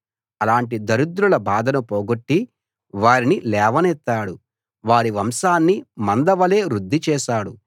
అలాటి దరిద్రుల బాధను పొగొట్టి వారిని లేవనెత్తాడు వారి వంశాన్ని మందవలె వృద్ధి చేశాడు